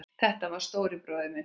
Þetta var stóri bróðir minn.